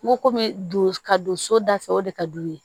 N ko kɔmi ka don so da fɛ o de ka d'u ye